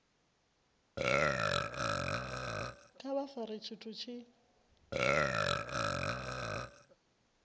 kha vha fare tshithu tshi